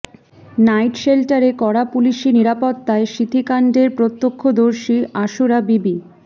night শেল্টারে কড়া পুলিশি নিরাপত্তায় সিঁথিকাণ্ডের প্রত্যক্ষদর্শী আসুরা বিবি